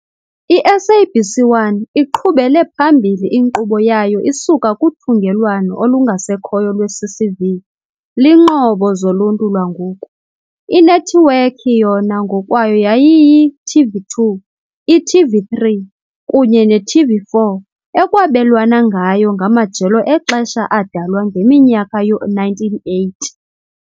I-SABC 1 iqhubele phambili inkqubo yayo isuka kuthungelwano olungasekhoyo lweCCV, IiNqobo zoLuntu lwangoku, inethiwekhi, yona ngokwayo yayiyi-TV2, i-TV3 kunye ne-TV4 ekwabelwana ngayo ngamajelo exesha adalwa ngeminyaka yoo-1980.